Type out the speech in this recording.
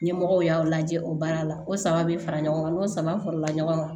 Ɲɛmɔgɔw y'aw lajɛ o baara la ko saba be fara ɲɔgɔn kan n'o sama farala ɲɔgɔn kan